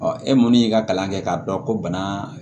e mun y'i ka kalan kɛ k'a dɔn ko bana